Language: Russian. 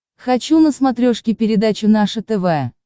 хочу на смотрешке передачу наше тв